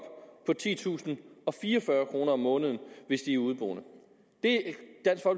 på titusinde og fireogfyrre kroner om måneden hvis de er udeboende